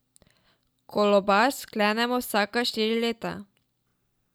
Kolobar sklenemo vsaka štiri leta.